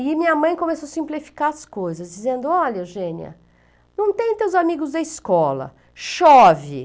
E minha mãe começou a simplificar as coisas, dizendo, ''olha, Eugênia, não tem teus amigos da escola, chove.''